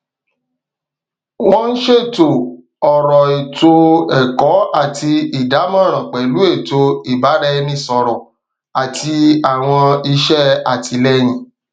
wọn ṣètò ọrọ ètò ẹkọ àti ìdámọràn pẹlú ètò ìbáraẹnisọrọ àti àwọn iṣẹ àtìlẹyìn